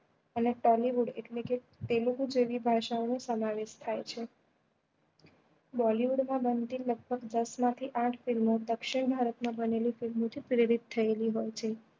અને એટલે કે તેલુગુ જેવી ભાષા નો સમાવેશ થાય છે bollywood માં બનતી લગભગ દસ માં થી આંઠ film ઓ દક્ષીણ ભારત માં બનેલી film ઓ થી પ્રેરિત થયેલી હોય છે.